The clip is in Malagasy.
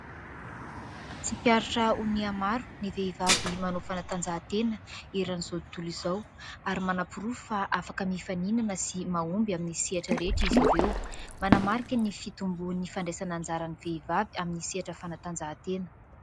Tsikaritra ho nihamaro ny vehivavy manao fanatanjahatena eran'izao tontolo izao ary manam-porofo fa afaka mifaninana sy mahomby amin'ny sehatra rehetra izy ireo. Manamarika ny fitomboan'ny fandraisana anjara ny vehivavy amin'ny sehatra fanatanjahantena.